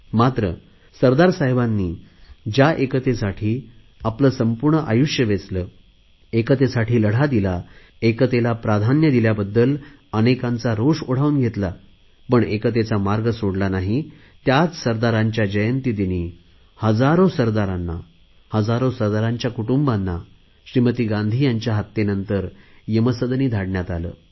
मात्र सरदार साहेबांनी ज्या एकतेसाठी आपले संपूर्ण आयुष्य वेचले एकतेसाठी लढा दिला एकतेला प्राधान्य दिल्याबद्दल अनेकांचा रोष ओढावून घेतला पण एकतेचा मार्ग सोडला नाही त्याच सरदारांच्या जयंती दिनी हजारो सरदारांना हजारो सरदारांच्या कुटुंबांना श्रीमती गांधींजी यांच्या हत्येनंतर यमसदनी धाडण्यात आले